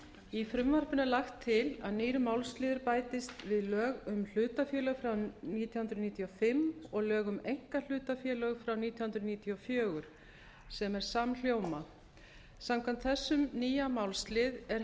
í frumvarpinu er lagt til að nýr málsliður bætist við lög um hlutafélög frá nítján hundruð níutíu og fimm og lög um einkahlutafélög frá nítján hundruð níutíu og fjögur sem er samhljóm a samkvæmt þessum nýja málslið er